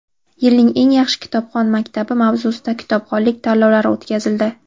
"Yilning eng yaxshi kitobxon maktabi" mavzusida kitobxonlik tanlovlari o‘tkazildi.